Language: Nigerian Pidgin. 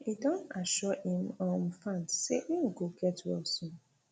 e don assure im um fans say im go get well soon